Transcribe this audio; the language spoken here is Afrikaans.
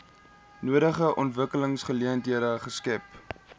nodige ontwikkelingsgeleenthede skep